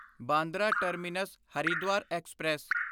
Bandra terminus Haridwar express